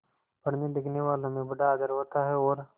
पढ़नेलिखनेवालों में बड़ा आदर होता है और